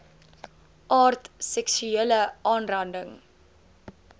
aard seksuele aanranding